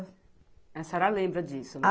A senhora lembra disso?